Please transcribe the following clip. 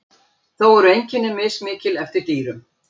Þó eru einkenni mismikil eftir dýrum.